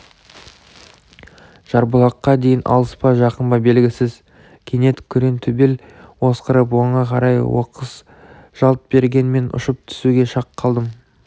жарбұлаққа дейін алыс па жақын ба белгісіз кенет күреңтөбел осқырып оңға қарай оқыс жалт берген мен ұшып түсуге шақ қалдым